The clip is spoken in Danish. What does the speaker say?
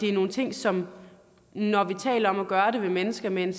er nogle ting som når vi taler om at gøre det ved mennesker med en